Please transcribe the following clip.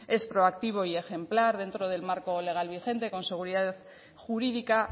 es proactivo y ejemplar dentro del marco legal vigente con seguridad jurídica